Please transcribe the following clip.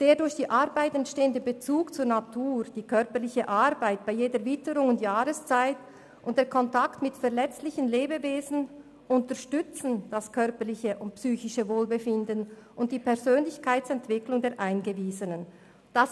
«Der durch die Arbeit entstehende Bezug zur Natur, die körperliche Arbeit bei jeder Witterung und Jahreszeit und der Kontakt mit verletzlichen Lebewesen unterstützen das körperliche und psychische Wohlbefinden und die Persönlichkeitsentwicklung der eingewiesenen Frauen.